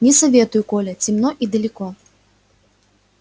не советую коля темно и далеко